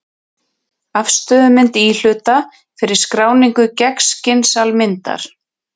Afstöðumynd íhluta fyrir skráningu gegnskins-almyndar.